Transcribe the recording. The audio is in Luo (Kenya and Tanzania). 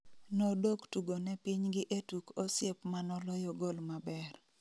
Nodok tugo ne piny gi e tuk osiep manoloyo gol maber